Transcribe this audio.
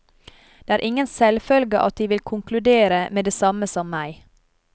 Det er ingen selvfølge at de vil konkludere med det samme som meg.